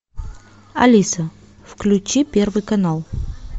алиса включи первый канал